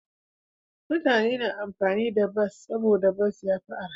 Mutane suna amfani da bas saboda bas ya fi arha.